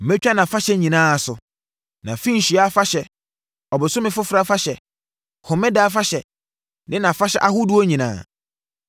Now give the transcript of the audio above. Mɛtwa nʼafahyɛ nyinaa so: nʼafenhyia afahyɛ, Ɔbosome Foforɔ afahyɛ Home Ɛda afahyɛ ne nʼafahyɛ ahodoɔ nyinaa.